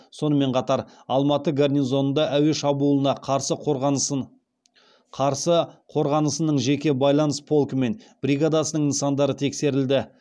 сонымен қатар алматы гарнизонында әуе шабуылына қарсы қорғанысының жеке байланыс полкі мен бригадасының нысандары тексерілді